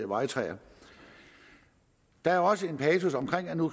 vejtræer der er også en passus om